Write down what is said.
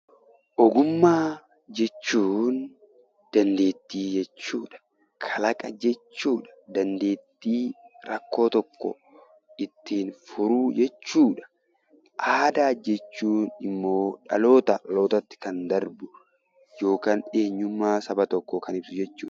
Ogummaa jechuun dandeettii jechuu dha. Kalaqa jechuu dha. Dandeettii rakkoo tokko ittiin furuu jechuu dha. Aadaa jechuun immoo dhalootaa dhalootatti kan darbu yookaan eenyummaa saba tokkoo kan ibsu jechuu dha.